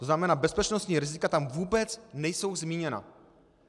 To znamená, bezpečnostní rizika tam vůbec nejsou zmíněna.